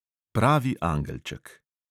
Pravi angelček.